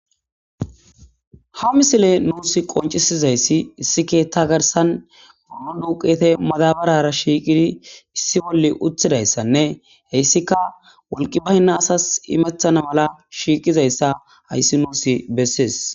Ha misile nuus qoncisizayssi issi keetta garsan uno duuqete madabarara shiiqidi issi bolle uthidayssanne heyssika wolqi baynna asas imeththana mala shiiqizayssa hayssi nuus bessees.